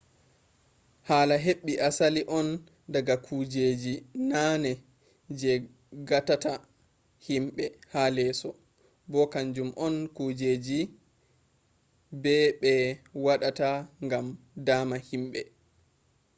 hala heɓɓi asli on daga kujeji nane je gatata himɓe ha leso bo kaanjum on kujeji be ɓe waɗa ngam dama himɓe